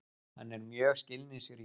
Hann er mjög skilningsríkur.